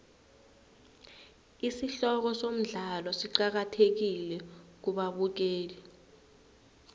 isihloko somdlalo siqakathekile kubabukeli